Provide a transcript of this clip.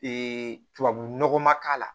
tubabunɔgɔ ma k'a la